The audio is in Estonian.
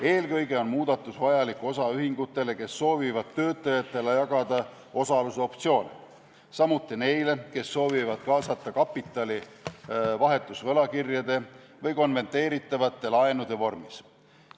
Eelkõige on muudatus vajalik osaühingutele, kes soovivad töötajatele jagada osalusoptsioone, samuti neile, kes soovivad kaasata kapitali vahetusvõlakirjade või konverteeritavate laenude vormis.